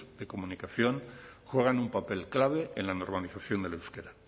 de comunicación juegan un papel clave en la normalización del euskera